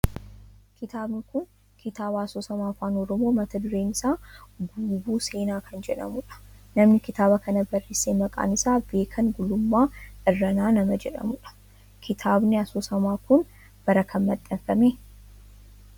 Kitaabni kun kitaaba asoosama afaan oromoo mata dureen isaa Guuboo Seenaa kan jedhamudha. Namni kitaaba kana barreesse maqaan isaa Beekan Gulummaa Irranaa nama jedhamudha. Kitaabni asoosamaa kun bara kam maxxanfame?